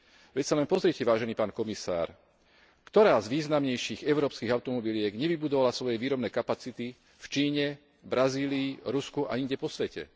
Veď sa len pozrite, vážený pán komisár, ktorá z významnejších európskych automobiliek nevybudovala svoje výrobné kapacity v Číne, Brazílii, Rusku a inde po svete?